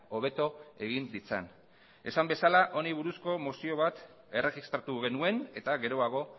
hobeto egin ditzan esan bezala honi buruzko mozio bat erregistratu genuen eta geroago